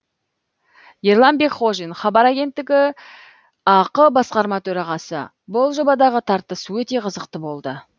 ерлан бекхожин хабар агенттігі ақ басқарма төрағасы бұл жобадағы тартыс өте қызықты болды